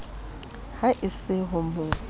ha e se ho mo